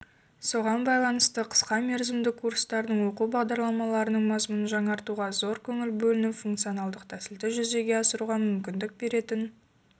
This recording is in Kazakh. соған байланысты қысқамерзімді курстардың оқу бағдарламаларының мазмұнын жаңартуға зор көңіл бөлініп функцио-налдық тәсілді жүзеге асыруға мүмкіндік беретін